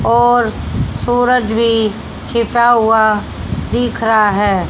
और सूरज भी छिपा हुआ दिख रहा है।